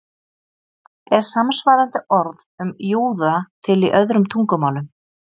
Er samsvarandi orð um júða til í öðrum tungumálum?